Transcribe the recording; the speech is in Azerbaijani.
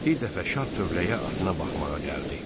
Bir dəfə şah tövləyə atına baxmağa gəldi.